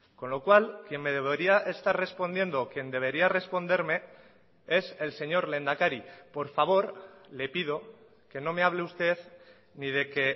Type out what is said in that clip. con lo cual quien me debería estar respondiendo quien debería responderme es el señor lehendakari por favor le pido que no me hable usted ni de que